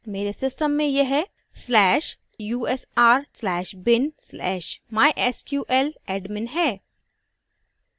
मेरे system में यह/usr/bin/mysqladmin है